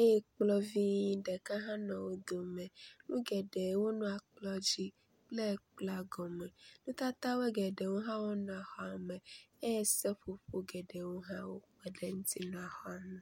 eye kplɔ̃ vi ɖeka hã nɔ wó dome nu geɖewo le kplɔa dzi le kplɔa gɔme ŋutata geɖewoe hã nɔ.xɔa me eye seƒoƒo geɖewo hã nɔ xɔa me